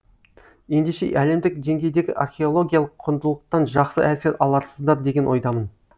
ендеше әлемдік деңгейдегі арехологиялық құндылықтан жақсы әсер аларсыздар деген ойдамын